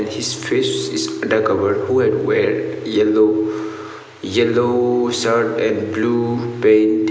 as his face is covered who had weared yellow yellow shirt and blue pant.